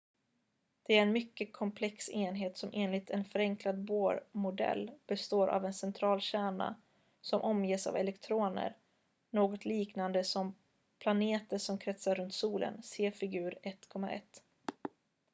det är en mycket komplex enhet som enligt en förenklad bohr-modell består av en central kärna som omges av elektroner något liknande som planeter som kretsar runt solen se figur 1.1